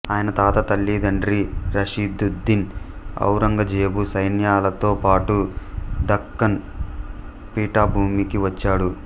ఆయన తాత తల్లితండ్రి రషీదుద్దీన్ ఔరంగజేబు సైన్యాలతో పాటు దక్కన్ పీఠభూమికి వచ్చాడు